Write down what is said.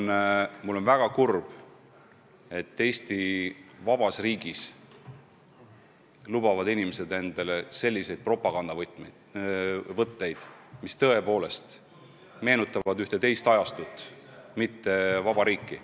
Ja mul on väga kurb, et Eesti vabas riigis lubavad inimesed endale selliseid propagandavõtteid, mis tõepoolest meenutavad ühte teist ajastut, mitte vaba riiki.